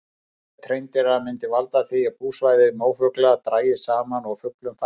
Ofbeit hreindýranna myndi valda því að búsvæði mófugla drægist saman og fuglum fækkaði.